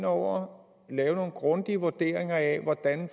over og lave en grundig vurdering af hvordan